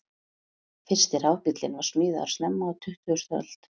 Fyrsti rafbíllinn var smíðaður snemma á tuttugustu öld.